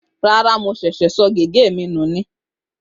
Rárá, mo ṣẹ̀ṣẹ̀ pàdánù gègé mi ni